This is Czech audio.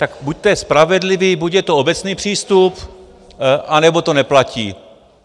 Tak buďte spravedliví, buď je to obecný přístup, anebo to neplatí.